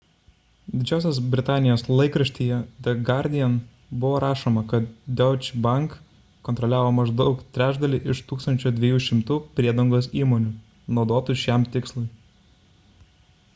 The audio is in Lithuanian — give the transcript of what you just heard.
didžiosios britanijos laikraštyje the guardian buvo rašoma kad deutsche bank kontroliavo maždaug trečdalį iš 1200 priedangos įmonių naudotų šiam tikslui